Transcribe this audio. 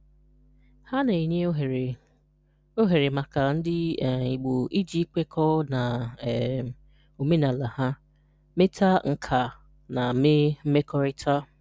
Ha na-enye ohere ohere maka ndị um Igbo iji kwekọọ na um omenala ha, meeta nkà, na mee mmekorita.